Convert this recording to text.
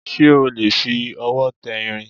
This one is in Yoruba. Ṣé o lè fi ọwọ́ tẹ irin?